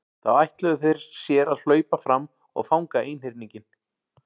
Þá ætluðu þeir sér að hlaupa fram og fanga einhyrninginn.